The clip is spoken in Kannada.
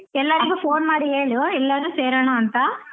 ಎಲ್ಲರಿಗೂ phone ಮಾಡಿ ಹೇಳು ಎಲ್ಲರೂ ಸೇರೋಣ ಅಂತ